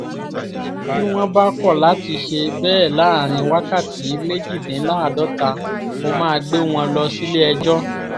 bí wọ́n bá kọ̀ láti ṣe bẹ́ẹ̀ láàrin wákàtí méjìdínláàádọ́ta mo máa gbé wọn lọ sílé-ẹjọ́